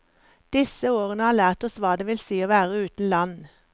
Disse årene har lært oss hva det vil si å være uten land.